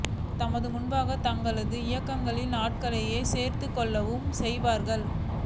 நமது முன்பாக தங்களது இயக்கங்களுக்கு ஆட்களை சேர்த்துக் கொள்ளவும் செய்வார்கள்